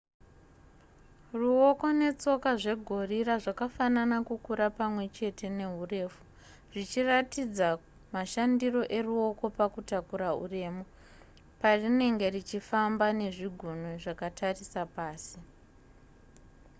ruoko netsoka zvegorira zvakafanana kukura pamwe chete neurefu zvichiratidza mashandiro eruoko pakutakura uremu parinenge richifamba nezvigunwe zvakatarisa pasi